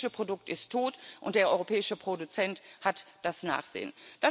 Das europäische Produkt ist tot, und der europäische Produzent hat das Nachsehen.